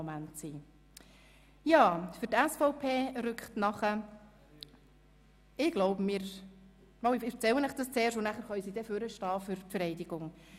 Deshalb wird dies auch für mich ein ganz besonderer Moment sein.